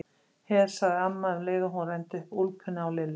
Her, sagði amma um leið og hún renndi upp úlpunni á Lillu.